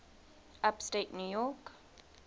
upstate new york